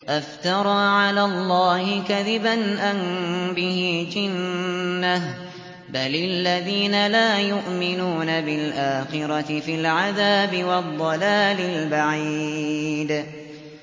أَفْتَرَىٰ عَلَى اللَّهِ كَذِبًا أَم بِهِ جِنَّةٌ ۗ بَلِ الَّذِينَ لَا يُؤْمِنُونَ بِالْآخِرَةِ فِي الْعَذَابِ وَالضَّلَالِ الْبَعِيدِ